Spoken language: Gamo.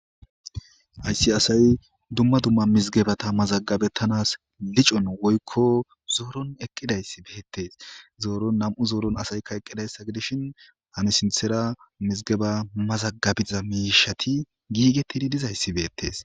Hayisi asay dumma dumma mizgebata mazagabettanas licon woykko zooron eqqidayssi beettees zooron na'mu zooron asaykka eqqidayssa gidishin hani sinthera mizgeba mazagabiza miishati giigetidi dizayssi beettees